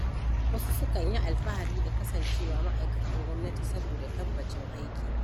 Wasu sukan yi alfahari da kasancewa ma'aikatan gwamnati saboda tabbacin aiki.